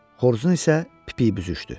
Xoruzun isə pipiyi büzüşdü.